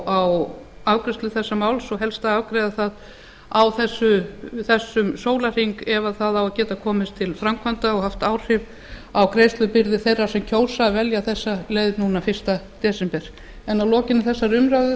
á afgreiðslu málsins og helst að afgreiða það á þessum sólarhring ef það á að geta komist til framkvæmda og haft áhrif á greiðslubyrði þeirra sem kjósa að velja þessa leið núna fyrsta desember en að lokinni þessari umræðu